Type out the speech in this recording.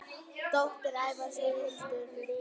Dóttir Ævars er Hildur Marín.